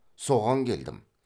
соған келдім